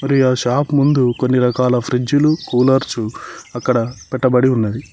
ఈ ఆ షాప్ ముందు కొన్ని రకాల ఫ్రిజ్లు కూలర్సు అక్కడ పెట్టబడి ఉన్నది.